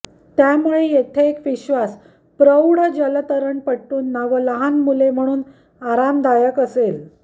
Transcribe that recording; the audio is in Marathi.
त्यामुळे येथे एक विश्वास प्रौढ जलतरणपटूंना व लहान मुले म्हणून आरामदायक असेल